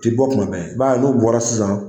O tɛ bɔ kuma bɛɛ, i b'a n'u bɔra sisan,